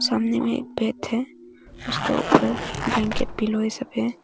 सामने में एक बेड है उसका ऊपर बैंकेट पिलो ये सब है।